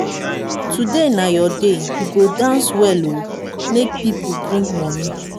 today na your day you go dance well ooo make people bring money.